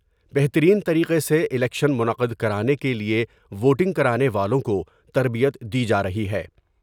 بہترین طریقے سے الیکشن منعقد کرانے کے لئے ووٹنگ کرانے والوں کو تربیت دی جارہی ہے ۔